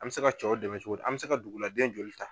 An bɛ se ka cɛw dɛmɛ cogo di? An bɛ se ka duguladen joli ta?